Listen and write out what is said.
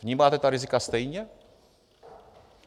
Vnímáte ta rizika stejně?